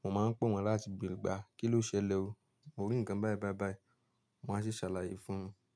Mo máa ń pè wọ́n láti béèrè pé kí ló ṣẹlẹ̀ o. Mo rí ǹkan báìbáìbáì, wọ́n á sì ṣàlàyé fún mi.